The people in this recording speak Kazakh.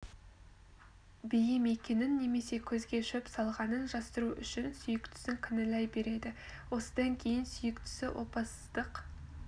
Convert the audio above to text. бейім екенін немесе көзге шөп салғанын жасыру үшін сүйіктісін кінәлай береді осыдан кейін сүйіктісі опасыздық